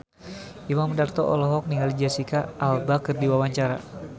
Imam Darto olohok ningali Jesicca Alba keur diwawancara